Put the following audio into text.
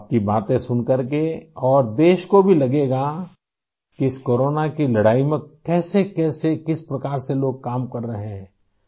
آپ کی باتیں سن کر اور ملک کے لوگوں کو بھی لگے گا کہ اس کورونا کی لڑائی میں کیسے کیسے ، کس طرح سے لوگ کام کر رہے ہیں